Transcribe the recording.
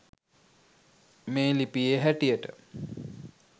මේ ලිපියේ හැටියට